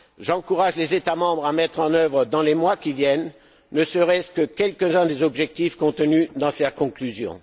J'encourage les États membres à mettre en œuvre, dans les mois qui viennent, ne serait ce que quelques uns des objectifs contenus dans ces conclusions.